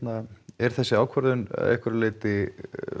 er þessi ákvörðun að einhverju leyti